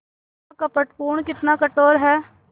कितना कपटपूर्ण कितना कठोर है